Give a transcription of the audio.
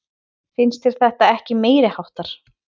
Finnst þér þetta ekki meiriháttar?